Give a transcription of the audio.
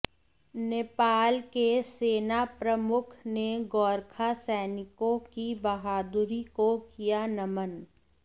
नेपाल के सेना प्रमुख ने गोरखा सैनिकों की बहादुरी को किया नमन